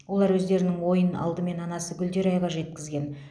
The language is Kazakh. олар өздерінің ойын алдымен анасы гүлдерайға жеткізген